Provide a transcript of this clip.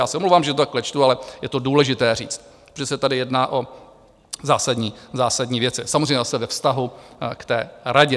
Já se omlouvám, že to takhle čtu, ale je to důležité říct, protože se tady jedná o zásadní věci, samozřejmě zase ve vztahu k té radě.